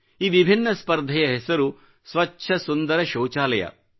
ಈ ವಿಭಿನ್ನ ಸ್ಪರ್ಧೆಯ ಹೆಸರು ಸ್ವಚ್ಚ ಸುಂದರ ಶೌಚಾಲಯ